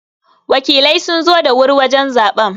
Wakilai sun zo da wuri wajen zaɓen.